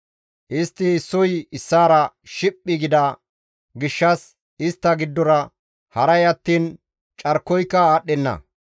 Istti issoy issaara shiphi gida gishshas Istta giddora haray attiin carkoyka aadhdhenna.